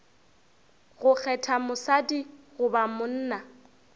go kgetha mosadi goba monna